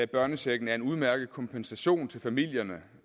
børnechecken er en udmærket kompensation til familier